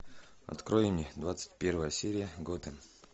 открой мне двадцать первая серия готэм